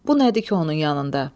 Bu nədir ki onun yanında?"